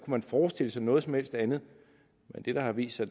man forestille sig noget som helst andet det der har vist sig